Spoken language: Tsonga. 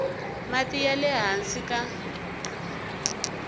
mati ya le hansi ka